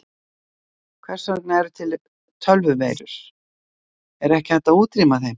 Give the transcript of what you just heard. Hvers vegna eru til tölvuveirur, er ekki hægt að útrýma þeim?